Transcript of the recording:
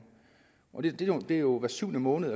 det sker jo hver syvende måned